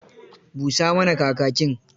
Busa mana Kakakin.